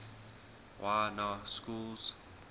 y na schools